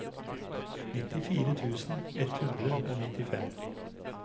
nittifire tusen ett hundre og nittifem